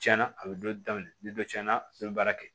Tiɲɛna a bɛ dɔ daminɛ ni dɔ tiɲɛna ne bɛ baara kɛ